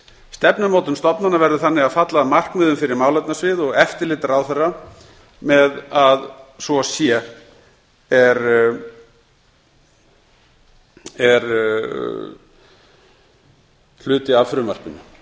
stefnumótun stofnana verður þannig að falla að markmiðum fyrir málefnasvið og eftirlit ráðherra með að svo sé er hluti af frumvarpinu